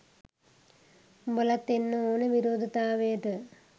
උඹලත් එන්න ඔන විරෝධතාවයට